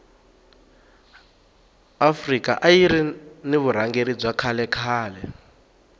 afrika ayiri ni vurhangeri bya kahle khale